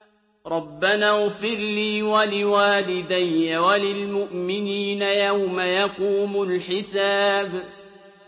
رَبَّنَا اغْفِرْ لِي وَلِوَالِدَيَّ وَلِلْمُؤْمِنِينَ يَوْمَ يَقُومُ الْحِسَابُ